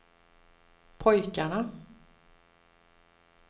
pojkarna